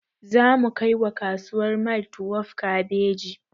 Zamu kai wa kasuwar maitwef kabeji